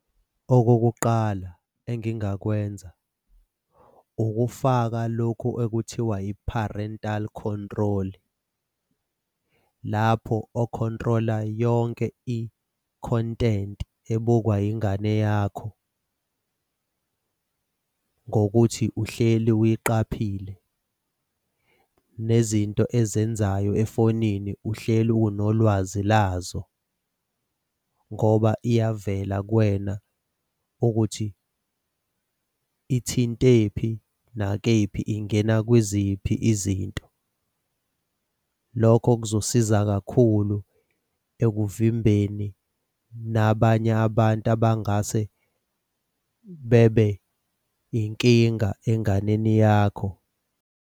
Okokuqala engingakwenza ukufaka lokhu okuthiwa i-parental control, lapho okhontrola yonke i-content ebukwa yingane yakho ngokuthi uhleli wuyiqaphile. Nezinto ezenzayo efonini uhleli unolwazi lazo ngoba iyavela kuwena ukuthi ithinte kuphi nakephi, ingena kwiziphi izinto? Lokho kuzosiza kakhulu ekuvimbeni nabanye abantu abangase bebe yinkinga enganeni yakho.